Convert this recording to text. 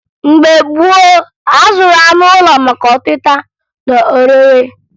Mgbe gboo, a zụrụ anụ ụlọ maka ọtịta na orire